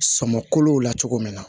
Sɔmolo la cogo min na